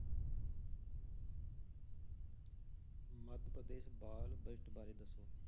ਮੱਧ ਪ੍ਰਦੇਸ਼ ਬਾਲ budget ਬਾਰੇ ਦੱਸੋ।